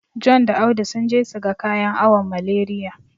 John da Audu sun je su ga kayan awon Malariya.